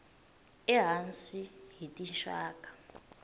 e hansi hi tinxaka